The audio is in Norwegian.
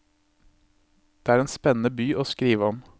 Det er en spennende by å skrive om.